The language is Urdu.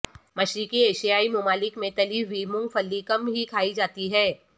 مشرقی ایشیائی ممالک میں تلی ہوئی مونگ پھلی کم ہی کھائی جاتی ہے